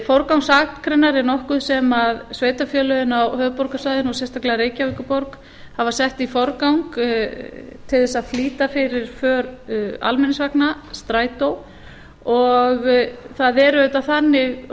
forgangsakreinar er nokkuð sem sveitarfélögin á höfuðborgarsvæðinu og sérstaklega reykjavíkurborg hafa sett í forgang til að flýta fyrir för almenningsvagna strætó og það er auðvitað þannig og það